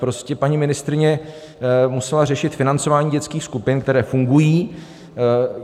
Prostě paní ministryně musela řešit financování dětských skupin, které fungují.